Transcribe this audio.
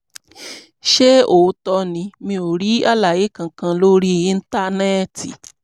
ṣé òótọ́ ni? mi ò rí àlàyé kankan lórí íńtánẹ́ẹ̀tì